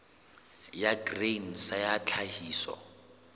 ya grain sa ya tlhahiso